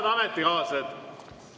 Head ametikaaslased!